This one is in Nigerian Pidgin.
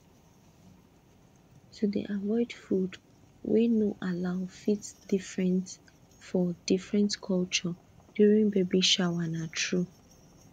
to dey avoid food wey no allow fit different for different culture during baby shower na true